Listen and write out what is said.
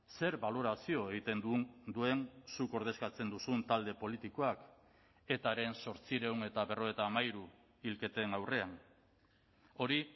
zer balorazio egiten duen zuk ordezkatzen duzun talde politikoak etaren zortziehun eta berrogeita hamairu hilketen aurrean hori